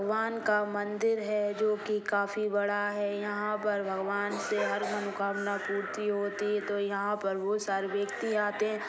भगवान का मंदिर है जो की काफी बड़ा है यहां पर भगवान से हर मनोकामना पूर्ति होती है यहां तो हर व्यक्ति आते हैं।